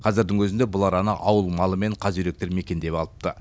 қазірдің өзінде бұл араны ауыл малы мен қаз үйректер мекендеп алыпты